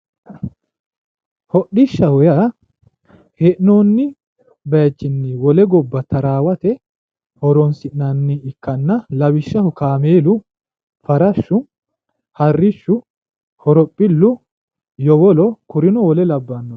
hodhishshaho yaa hee'noonni bayiichinni wole gobba xaraawate horonsi'nanni ikkanna lawishshaho kaameelu farashshu harrichu horophillu yowolo kurino wole labbanoreeti.